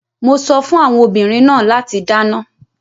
Mo sọ fún àwọn obìnrin náà láti dáná.